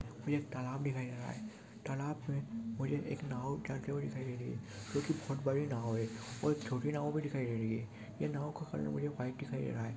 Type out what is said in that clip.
मुझे एक तालाब दिखाई दे रहा है तालाब में मुझे एक नाव जाते हुए दिखाई दे रही है जोकि बहुत बड़ी नाव और छोटी नाव भी दिखाई दे रही है ये नाव कलर मुझे व्हाइट दिखाई दे रहा है।